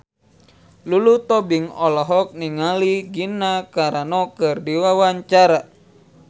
Lulu Tobing olohok ningali Gina Carano keur diwawancara